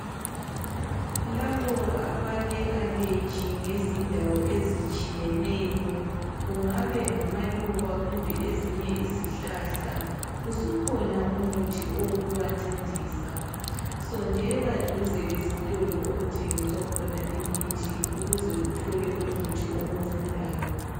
Labo abale aleji ngezindawo ezitshiyeneyo kungabe ngamaluba kumbe ezinye izihlahla, usukhona umuthi owokubancedisa. Sondela duze lesitolo okuthengiswa khona imithi ukuze uthole umuthi okuncedayo.